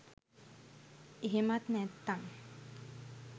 එහෙමත් නැත්තං